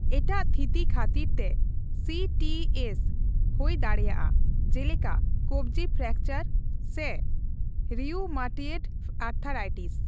ᱮᱴᱟᱜ ᱛᱷᱤᱛᱤ ᱠᱷᱟᱛᱤᱨ ᱛᱮ ᱥᱤ ᱴᱤ ᱥ ᱦᱳᱭ ᱫᱟᱲᱮᱹᱭᱟᱜᱼᱟ ᱡᱮᱞᱮᱠᱟ ᱠᱚᱵᱽᱡᱤ ᱯᱷᱨᱮᱠᱪᱟᱨ ᱥᱮ ᱨᱤᱭᱩᱢᱟᱴᱭᱮᱰ ᱟᱛᱷᱨᱟᱭᱴᱤᱥ ᱾